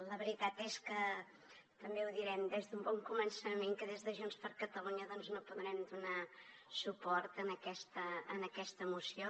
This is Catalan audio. la veritat és que també ho direm des d’un bon començament que des de junts per catalunya doncs no podrem donar suport a aquesta moció